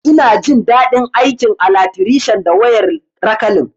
Ina jin dadi aikin alatrishan da wayar rakalin